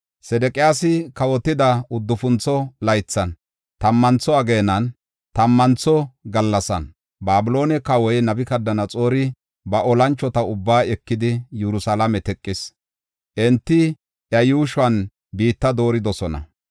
Sedeqiyaasi kawotida uddufuntho laythan, tammantho ageenan, tammantho gallasan Babiloone kawoy Nabukadanaxoori ba olanchota ubbaa ekidi, Yerusalaame teqis. Enti iya yuushuwan biitta dooridosona.